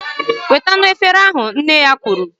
Wetanu efere ahu! Nne ya kwuru